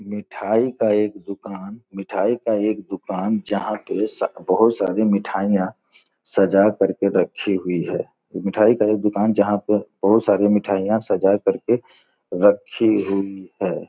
मिठाई का एक दुकान मिठाई का एक दुकान जहाॅं के स- बहोत सारी मिठाइयाँ सजा कर के रखी हुई हैं। मिठाई का एक दुकान जहाॅं पे बहोत सारी मिठाइयाँ सजा कर के रखी हुई हैं।